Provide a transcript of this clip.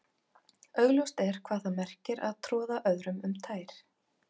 Augljóst er hvað það merkir að troða öðrum um tær.